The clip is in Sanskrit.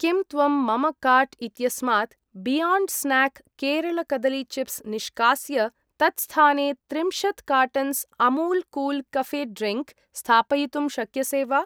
किं त्वं मम काार्ट् इत्यस्मात् बियोण्ड् स्न्याक् केरळ कदली चिप्स् निष्कास्य, तत्स्थाने त्रिंशत् cartons Amul Kool Cafe drink स्थापयितुं शक्यसे वा?